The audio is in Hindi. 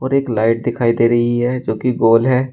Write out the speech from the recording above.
और एक लाइट दिखाई दे रही है जो कि गोल है।